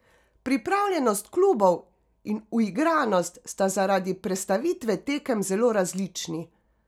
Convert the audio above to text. Pripravljenost klubov in uigranost sta zaradi prestavitve tekem zelo različni.